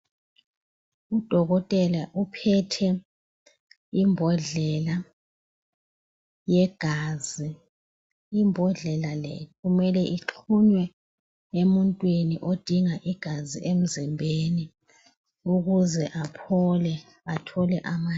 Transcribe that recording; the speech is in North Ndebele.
Udokotela uphethe imbodlela yegazi. Imbodlela le kumele ixhunywe emuntwini, odinga igazi emzimbeni ukuze aphole. Athole amandla.